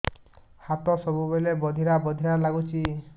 ହାତ ସବୁବେଳେ ବଧିରା ବଧିରା ଲାଗୁଚି